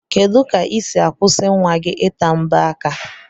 Kedu ka isi akwụsi nwa gi ita mbo aka?